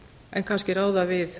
en kannski ráða við